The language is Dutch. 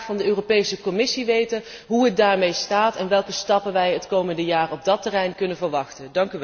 Ik zou graag van de Europese Commissie weten hoe het daarmee staat en welke stappen wij het komende jaar op dat terrein kunnen verwachten.